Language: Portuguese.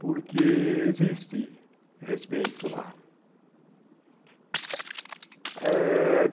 Porque existe respeito lá.